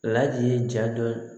Ladi ye ja dɔ